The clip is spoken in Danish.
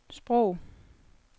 sprog